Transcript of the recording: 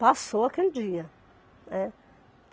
Passou aquele dia, né.